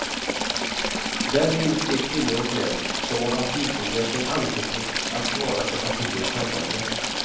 Där finns de kvinnor och män som av partikongressen anförtrotts att svara för partiets handlande.